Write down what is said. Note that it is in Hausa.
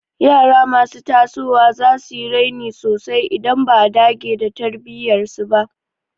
Yara masu tasowa za su yi raini sosai idan ba a dage da tarbiyyar su ba.